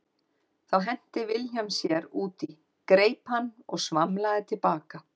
Þá henti Vilhelm sér út í, greip hann og svamlaði til baka.